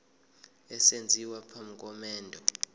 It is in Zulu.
esenziwa phambi komendo